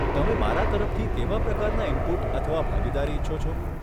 તમે મારા તરફથી કેવા પ્રકારના ઇનપુટ અથવા ભાગીદારી ઇચ્છો છો?